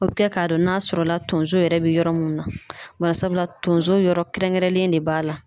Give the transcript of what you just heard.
O be kɛ ka dɔn n'a sɔrɔ la tonso yɛrɛ be yɔrɔ mun na. Barisabula tonso yɔrɔ kɛrɛnkɛrɛnlen de b'a la.